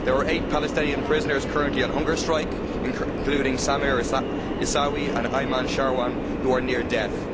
There are eight Palestinian prisoners currently on hunger strike, including Samer Issawi and Ayman Sharawna, who are near death.